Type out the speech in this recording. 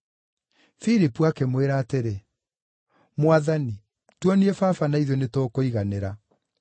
Filipu akĩmwĩra atĩrĩ, “Mwathani, tuonie Baba na ithuĩ nĩtũkũiganĩra.”